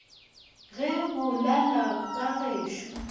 ge bo lala ka gešo